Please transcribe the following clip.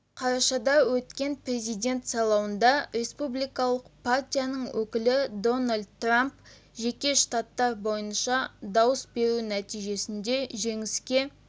қарашада өткен президент сайлауында республикалық партияның өкілі дональд трамп жеке штаттар бойынша дауыс беру нәтижесінде жеңіске